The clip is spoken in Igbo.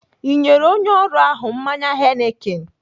Ị nyere onye ọrụ ahụ mmanya Heineken?